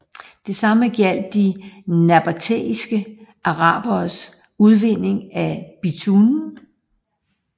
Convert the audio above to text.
Det samme gjaldt de nabatæiske araberes udvinding af bitumen